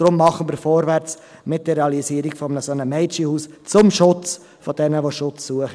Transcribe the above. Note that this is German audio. Deshalb machen wir vorwärts mit der Realisierung eines solchen Mädchenhauses zum Schutz jener, die Schutz suchen!